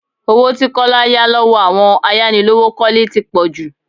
Owó tí Kọ́lá yá lọ́wọ́ àwọn ayánilówókọ́lẹ́ tí pò jù.